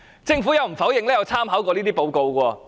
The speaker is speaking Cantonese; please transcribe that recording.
政府亦無否認曾參考這份報告。